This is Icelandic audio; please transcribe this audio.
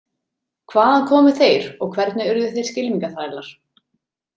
Hvaðan komu þeir og hvernig urðu þeir skylmingaþrælar?